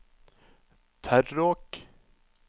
Terråk